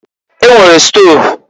E nwere stov.